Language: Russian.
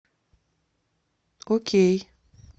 окей